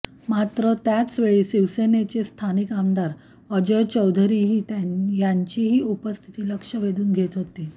मात्र त्याचवेळी शिवसेनेचे स्थानिक आमदार अजय चौधरीही यांचीही उपस्थिती लक्ष वेधून घेत होती